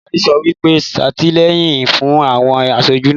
Adarí sọ wípé,'satilẹ́yìn fún àwọn asojú náà'